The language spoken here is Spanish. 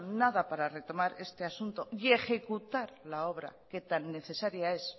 nada para retomar este asunto y ejecutar la obra que tan necesaria es